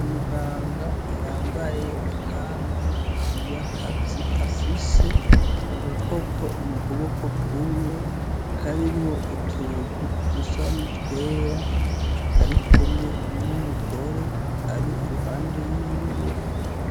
Umuganga yambaye ikanzu y'akazi afise agakopo mu kuboko kumwe karimwo utuntu dusa n'utwera ari kumwe n'umugore ari iruhande yiwe